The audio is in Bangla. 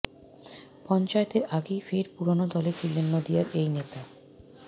পঞ্চায়েতের আগেই ফের পুরনো দলে ফিরলেন নদিয়ার এই নেতা